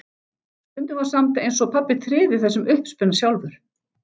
Stundum var samt eins og pabbi tryði þessum uppspuna sjálfur.